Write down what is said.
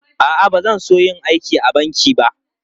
A'a, ba zan so yin aiki a banki ba.